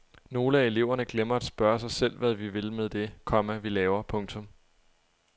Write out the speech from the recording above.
Nogle af eleverne glemmer at spørge sig selv hvad vi vil med det, komma vi laver. punktum